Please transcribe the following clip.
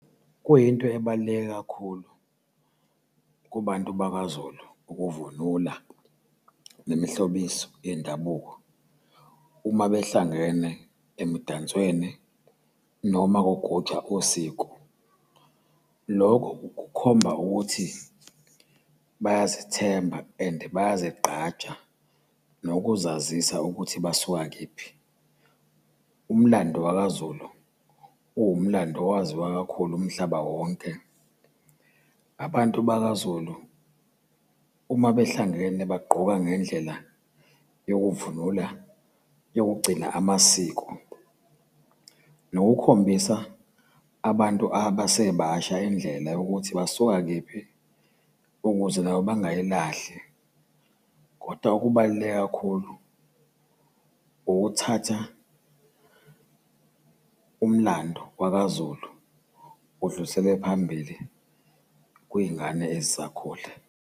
Kuyinto ebaluleke kakhulu kubantu bakwazulu ukuvunula nemihlobiso yendabuko uma behlangene emdansweni noma kugujwa usiko. Lokho kukhomba ukuthi bayazithemba and bayazigqaja nokuzazisa ukuthi basuka kephi. Umlando wakwaZulu uwumlando owaziwa kakhulu umhlaba wonke. Abantu bakaZulu uma behlangene bagqoka ngendlela yokuvunula, yokugcina amasiko, nokukhombisa abantu abasebasha indlela yokuthi basuka kephi, ukuze nabo bangayilahli, kodwa okubaluleke kakhulu ukuthatha umlando wakaZulu udluliselwe phambili kuy'ngane ezisakhula.